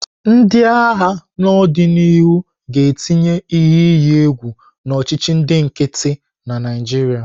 Ndị agha n'odinihu ga-etinye ihe iyi egwu na ọchịchị ndị nkịtị na Naịjirịa.